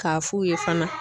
K'a f'u ye fana